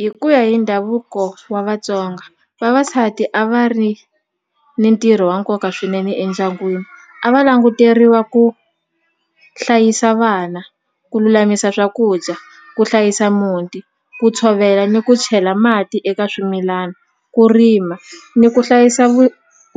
Hi ku ya hi ndhavuko wa Vatsonga vavasati a va ri ni ntirho wa nkoka swinene endyangwini a va languteriwa ku hlayisa vana ku lulamisa swakudya ku hlayisa muti ku tshovela ni ku chela mati eka swimilana ku rima ni ku hlayisa